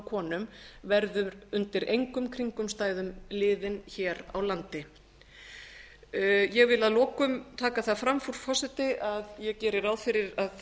konum verður undir engum kringumstæðum liðin hér á landi ég vil að lokum taka það fram frú forseti að ég geri ráð fyrir að